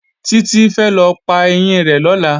Títí fẹ́ lọ pa ẹyín rẹ̀ lọ́la